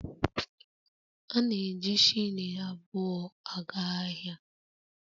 Ana m eji shilling abụọ aga ahịa